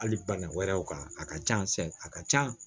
Hali bana wɛrɛw kan a ka ca a ka ca